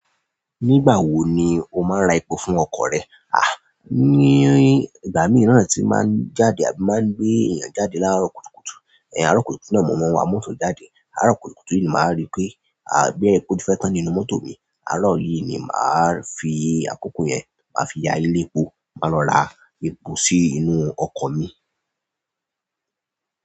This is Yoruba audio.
Nígbà wo ni o máa ń ra epo fún ọkọ̀ rẹ? Ní ìgbà mìíràn tí máa ń jáde àbí máa ń gbé èèyàn jáde lárọ̀ kúkúkù. Àárọ̀ kùtùkùtù náà mo máa ń wa mọ́tò jáde. Àárọ̀ kùtùkùtù yìí ni màá rí pé, boya epo ti fẹ́ tán nínú mọ́tò mi. Àárọ̀ yìí ni màá fi àkókò yẹn maá fi ya ilé epo, máa lọ ra epo sí inú ọkọ̀ mi.